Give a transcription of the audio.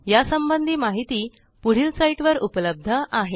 या संबंधी माहिती पुढील साईटवर उपलब्ध आहे